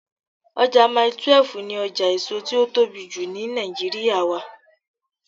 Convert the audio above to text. Ọjà Mile 12 ni ọjà èso tí ó tóbi jù ni Nàìjíríà wà.